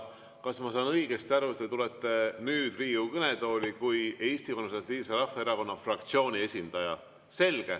Kas ma saan õigesti aru, et te tulete nüüd Riigikogu kõnetooli kui Eesti Konservatiivse Rahvaerakonna fraktsiooni esindaja?